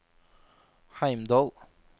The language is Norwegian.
Heimdal